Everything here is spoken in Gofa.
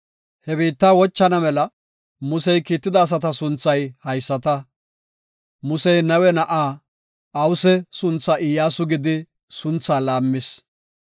He biitta wochana mela Musey kiitida asata sunthay haysata. Musey Nawe na7aa Awuse sunthaa Iyyasu gidi sunthaa laammis.